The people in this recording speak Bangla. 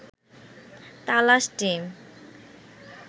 তালাশ টিম